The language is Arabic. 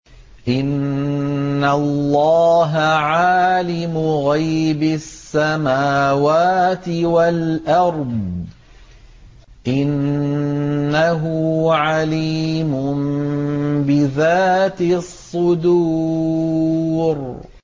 إِنَّ اللَّهَ عَالِمُ غَيْبِ السَّمَاوَاتِ وَالْأَرْضِ ۚ إِنَّهُ عَلِيمٌ بِذَاتِ الصُّدُورِ